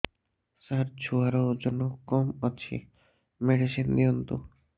ସାର ଛୁଆର ଓଜନ କମ ଅଛି ମେଡିସିନ ଦିଅନ୍ତୁ